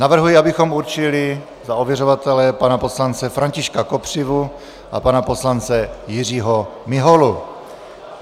Navrhuji, abychom určili za ověřovatele pana poslance Františka Kopřivu a pana poslance Jiřího Miholu.